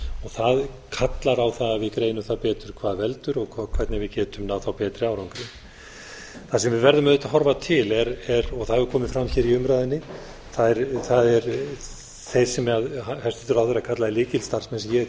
það kallar á það að við greinum það betur hvað veldur og hvernig við getum náð betri árangri það sem við verðum auðvitað að horfa til og það hefur komið fram hér í umræðunni það er þeir sem hæstvirtur ráðherra kallaði lykilstarfsmenn sem ég